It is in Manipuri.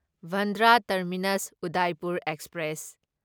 Bandra terminus Udaipur express